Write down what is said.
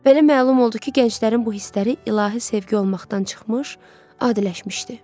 Belə məlum oldu ki, gənclərin bu hissləri ilahi sevgi olmaqdan çıxmış, adiləşmişdi.